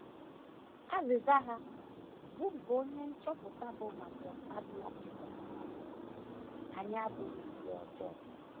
Azịza ha, bụ́ nke onye nchọpụta bụ́ Margot Adler chịkọtara, bụ: “ Anyị abụghị ndị ọjọọ.